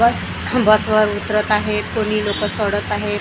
बस बसवर उतरत आहेत कोणी लोकं सोडत आहेत आह--